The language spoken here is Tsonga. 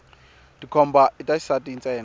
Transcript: tikhomba ita xisati ntsena